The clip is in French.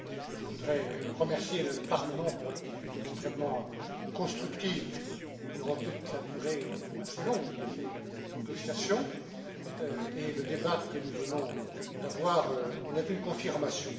Je voudrais remercier le Parlement pour son attitude extrêmement constructive durant toute la durée assez longue de ces négociations, et le débat que nous venons d'avoir en est une confirmation.